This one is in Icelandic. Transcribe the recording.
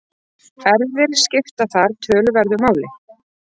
Erfðir skipta þar töluverðu máli.